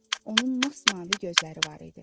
Onun masmavi gözləri var idi.